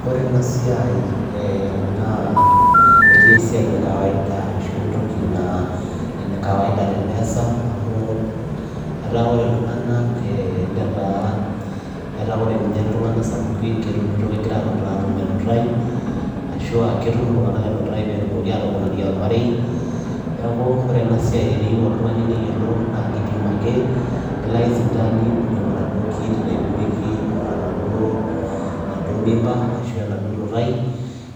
Kore ena siai ee naa etaa esiai e kawaida ashu entoki naa ene kawaida teneasa amu etaa kore iltung'anak ee netaa etaa kore ninye iltung'ana sapukin ketumito kegira aanuta aatum enutai ashu aa ketum iltung'anak enutai peetumoki aatoponari ormarei. Neeku kore ena siai teneyeu oltung'ani neyolou naake ipim ake, elo ake sipitali ninyang'u enaduo kit naipimieki enaduo enaduo mimba ashu enaduo nutai,